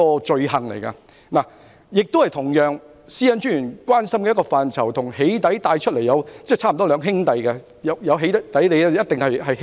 這同樣是專員關心的範疇，與"起底"差不多是兩兄弟，"起底"的同時一定會出現欺凌。